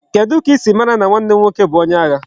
Kedu ka isi mara na nwanne m nwoke bu onye agha?